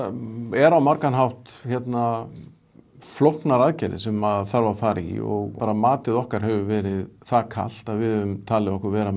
eru á margan hátt hérna flóknar aðgerðir sem þarf að fara í og bara matið okkar hefur verið það kalt að við höfum talið okkur vera